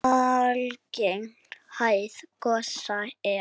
Algeng hæð gosa er